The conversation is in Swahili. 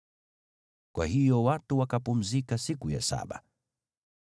Kwa hiyo watu wakapumzika siku ya saba.